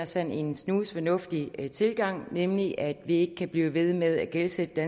sådan en snusfornuftig tilgang nemlig at vi ikke kan blive ved med at gældsætte det